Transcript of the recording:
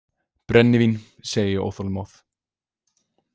Brennivín, segi ég óþolinmóð.